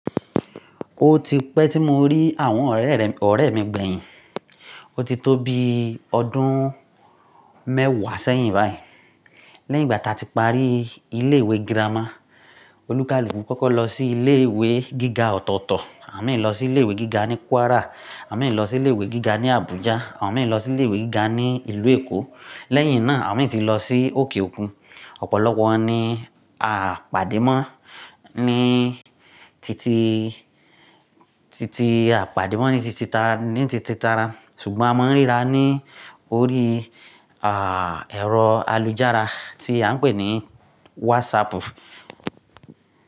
Ó ti pẹ́ tí mo rí àwọn ọ̀rẹ́ mi gbẹ̀yìn. Ó ti pẹ́ tí mo rí àwọn ọ̀rẹ́ mi gbẹ̀yìn. Léyìn ìgbà tí a ti parí ilé ìwé girama, olúkálùkù kọ́kọ́ lọ sí ilé ìwé gíga ọ̀tọ̀ọ̀tọ̀, àwọn mìí lọ sí ilé ìwé gíga ní Kwara, àwọn mìí lọ sí ilé ìwé gíga ní Abuja, àwọn mìí lọ sí ilé ìwé gíga ní ìlú Èkó. Lẹ́yìn náà, àwọn mìíràn ti lọ sí òkè òkun. Ọ̀pọ̀lọpọ̀ wọn ní aa pàdé mọ́ ní titi, titi a pàdé mọ́ ní titi tara, ṣùgbọ́n a mọ̀ n ríra ní orí à ẹ̀rọ àlùjára tí a ń pè ní WhatsApp.